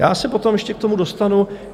Já se potom ještě k tomu dostanu.